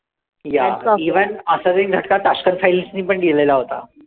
yeah even असाच एक झटका tashkent files नी पण दिलेला होता.